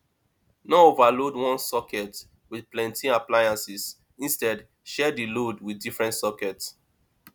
no overload one socket with plenty appliances instead share di load with different socket